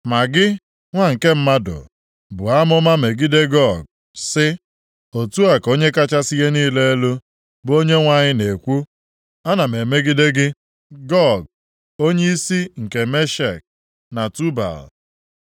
“Ma gị, nwa nke mmadụ buo amụma megide Gog, sị, ‘Otu a ka Onye kachasị ihe niile elu, bụ Onyenwe anyị na-ekwu: Ana m emegide gị, Gog, onyeisi nke Meshek na Tubal.